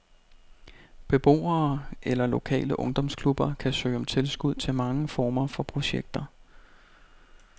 Beboere eller lokale ungdomsklubber kan søge om tilskud til mange former for projekter.